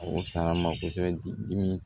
O faama kosɛbɛ dimi